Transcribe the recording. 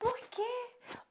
Por quê?